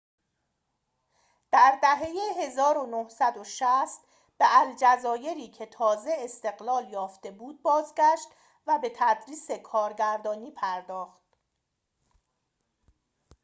در دهه ۱۹۶۰ به الجزایری که تازه استقلال یافته بود بازگشت و به تدریس کارگردانی پرداخت